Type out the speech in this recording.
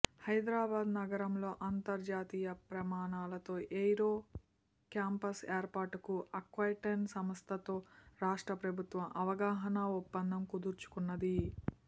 హైదరాబాద్ నగరంలో అంతర్జాతీయ ప్రమాణాలతో ఎయిరో క్యాంపస్ ఏర్పాటుకు ఆక్వటైన్ సంస్థతో రాష్ట్ర ప్రభుత్వం అవగాహనా ఒప్పందం కుదుర్చుకున్నది